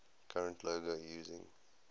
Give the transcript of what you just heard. current logo using